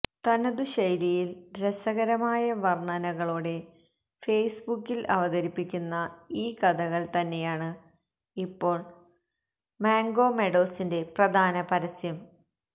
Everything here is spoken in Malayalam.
തനതുശൈലിയിൽ രസകരമായ വർണനകളോടെ ഫേസ്ബുക്കിൽ അവതരിപ്പിക്കുന്ന ഈ കഥകൾ തന്നെയാണ് ഇപ്പോൾ മാംഗോ മെഡോസിന്റെ പ്രധാന പരസ്യം